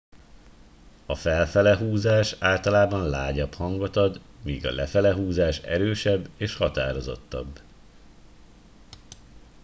"a "felfele" húzás általában lágyabb hangot ad míg a "lefele" húzás erősebb és határozottabb.